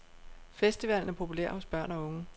Festivalen er populær hos børn og unge.